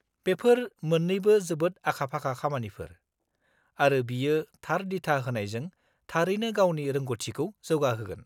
-बेफोर मोन्नैबो जोबोद आखा-फाखा खामानिफोर, आरो बियो थार दिथा होनायजों थारैनो गावनि रोंग 'थिखौ जौगाहोगोन।